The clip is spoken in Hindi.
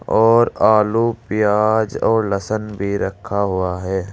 और आलू प्याज और लहसन भी रखा हुआ है।